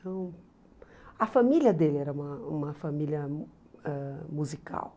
Então, a família dele era uma uma família ãh musical.